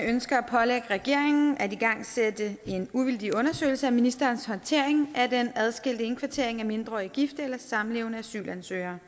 ønsker at pålægge regeringen at igangsætte en uvildig undersøgelse af ministerens håndtering af den adskilte indkvartering af mindreårige gifte eller samlevende asylansøgere